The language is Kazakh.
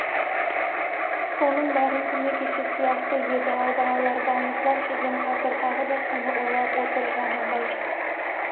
соның бәрі күні кеше сияқты еді-ау балалар балмұздақ жеген қазір тағы да соны ойлап отыр жанындай